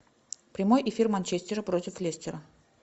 прямой эфир манчестера против лестера